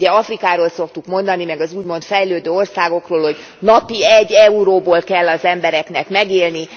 Ugye Afrikáról szoktuk mondani, meg az úgymond fejlődő országokról, hogy napi egy euróból kell az embereknek megélni.